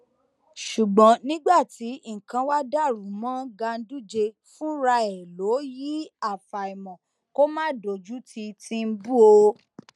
ṣùgbọn nígbà tí nǹkan wàá dàrú mọ ganduje fúnra ẹ lọwọ yìí àfàìmọ kó má dojútì tìǹbù o